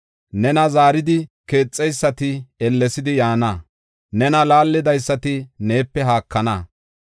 Nena zaaridi keexeysati ellesidi yaana; nena laallidaysati neepe haakana.